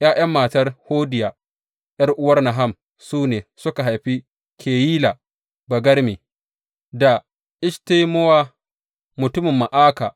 ’Ya’yan matar Hodiya, ’yar’uwar Naham su ne, suka haifi Keyila Bagarme, da Eshtemowa mutumin Ma’aka.